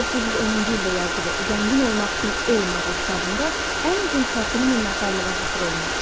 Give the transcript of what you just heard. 1910-cu ildə yazdığı zəngin olmaq üçün elm adlı kitabında ən uzun fəsil minnətdarlığa həsr olunmuşdu.